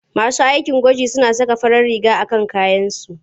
Masu aikin gwaji suna saka farar riga a kan kayansu.